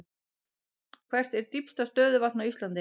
Hvert er dýpsta stöðuvatn á Íslandi?